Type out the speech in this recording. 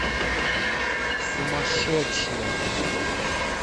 сумасшедшие